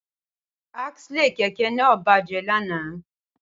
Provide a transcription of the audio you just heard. Axle kẹ̀kẹ́ náà bàjẹ́ lánàá